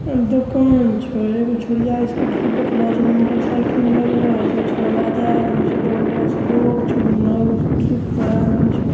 दुकान छै | एगो छोडिया स्कूटरी पर बैठलो आछे एने मोटरसाइकिल लगलो आछे छौड़वा जा रहलो छे बगलवा से रोड छे खड़ा आदमी छे ।